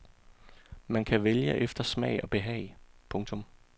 Man kan vælge efter smag og behag. punktum